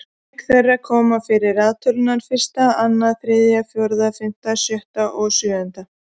Auk þeirra koma fyrir raðtölurnar fyrsta, annað, þriðja, fjórða, fimmta, sjötta og sjöunda.